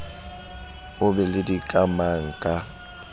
o be le dikamang ka